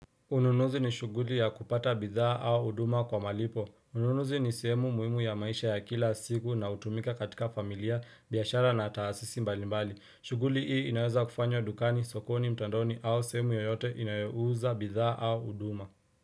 Unununuzi ni shughuli ya kupata bidhaa au huduma kwa malipo ununuzi ni semu muhimu ya maisha ya kila siku na hutumika katika familia biashara na taasisi mbalimbali shuguli hii inaweza kufanywa dukani sokoni mtandoni au sehemu yoyote inayouza bidhaa au huduma.